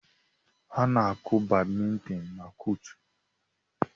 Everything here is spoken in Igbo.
A na-akụ badmintin na kọọtụ.